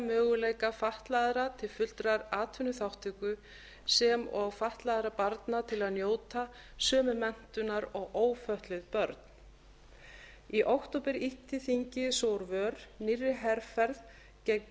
möguleika fatlaðra til fullrar atvinnuþátttöku sem og fatlaðra barna til að njóta sömu menntunar og ófötluð börn í október ýtti þingið svo úr vör nýrri herferð gegn